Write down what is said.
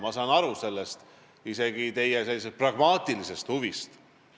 Ma saan isegi aru teie pragmaatilisest huvist.